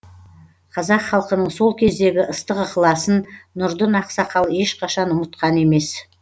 қазақ халқының сол кездегі ыстық ықыласын нұрдын ақсақал ешқашан ұмытқан емес